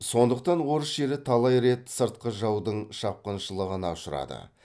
сондықтан орыс жері талай рет сыртқы жаудың шапқыншылығына ұшырады